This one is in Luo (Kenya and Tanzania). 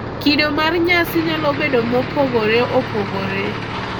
Kido mar nyasi nyalo bedo mopogore opogore